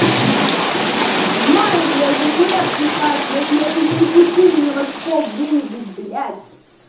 в мае блять впр писать если я её не напишу меня в очко выебут блять